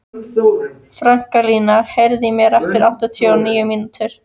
Franklín, heyrðu í mér eftir áttatíu og níu mínútur.